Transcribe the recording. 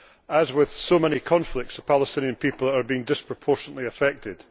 As with so many conflicts, the Palestinian people are being disproportionately affected.